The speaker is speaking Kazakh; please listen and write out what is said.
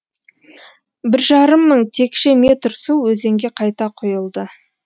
бір жарым мың текше метр су өзенге қайта құйылды